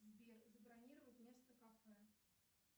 сбер забронировать место в кафе